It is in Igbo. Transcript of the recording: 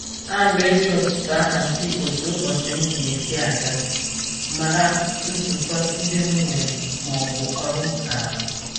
Ana m eji ụtụt ahazi otu ụbọchị m ga-esi aga, mara nzukọ ndị m nwere maọbụ ọrụ m ga-arụ